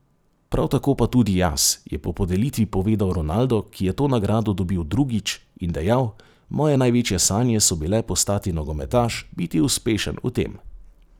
Prav tako pa tudi jaz,' je po podelitvi povedal Ronaldo, ki je to nagrado dobil drugič, in dejal: 'Moje največje sanje so bile postati nogometaš, biti uspešen v tem.